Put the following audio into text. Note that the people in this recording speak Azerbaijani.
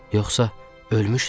Yoxsa ölmüşdü?